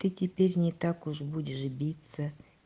ты теперь не так уж будешь биться